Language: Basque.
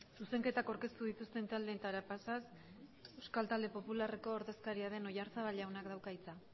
zuzenketak aurkeztu dituzten taldeetara pasaz euskal talde popularreko ordezkaria den oyarzabal jaunak dauka hitza